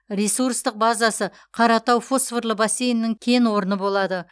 ресурстық базасы қаратау фосфорлы бассейнінің кен орны болады